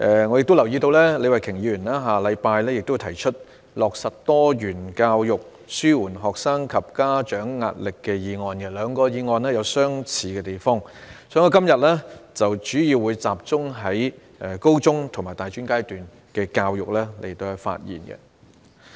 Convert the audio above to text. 我亦留意到李慧琼議員會在下星期提出"落實多元教育紓緩學生及家長壓力"的議案，兩項議案有相似的地方，所以我今天會集中就高中及大專階段的教育發言。